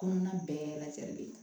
Kɔnɔna bɛɛ lajɛlen